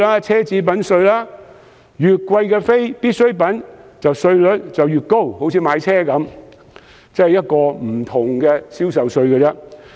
奢侈品稅方面，越昂貴的非必需品，稅率應該越高，以此作為另類的銷售稅。